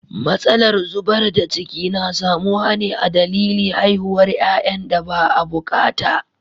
Matsalar zubar da ciki na samuwa ne a dalili haihuwar yayan da ba a bukata.